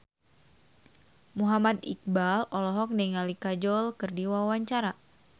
Muhammad Iqbal olohok ningali Kajol keur diwawancara